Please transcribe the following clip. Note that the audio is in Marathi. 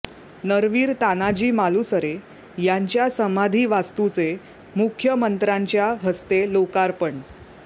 नरवीर तानाजी मालुसरे यांच्या समाधी वास्तूचे मुख्यमंत्र्यांच्या हस्ते लोकार्पण